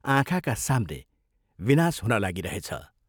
आँखाका साम्ने विनाश हुन लागिरहेछ।